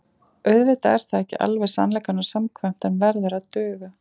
Auðvitað er það ekki alveg sannleikanum samkvæmt en verður að duga.